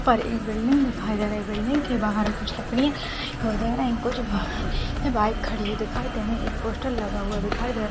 यहाँ पर एक बिल्डिंग दिखाई दे रही है बिल्डिंग के बाहर कुछ लकड़ियाँ दिखाई दे रही है कुछ बाइक खड़ी दिखाई दे रही है एक पोस्टर लगा हुआ दिखाई--